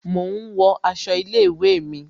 Mo ń wo aṣọ ilé ìwé mi